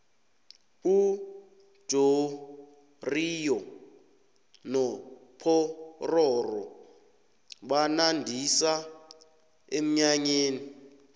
ujoriyo nopororo banandisa emnyanyeni